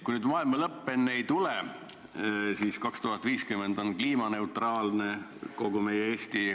Kui nüüd maailma lõpp enne ei tule, siis aastaks 2050 on kliimaneutraalne kogu meie Eesti.